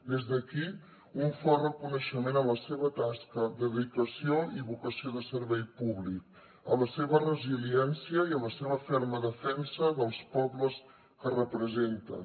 des d’aquí un fort reconeixement a la seva tasca dedicació i vocació de servei públic a la seva resiliència i a la seva ferma defensa dels pobles que representen